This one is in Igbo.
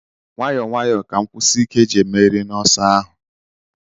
Nwayọọ nwayọọ ka nkwụsi ike ji emeri n'ọsọ ahụ.